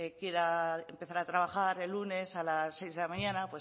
quiera empezar a trabajar el lunes a las seis de la mañana